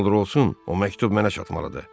Nə olur-olsun, o məktub mənə çatmalıdır.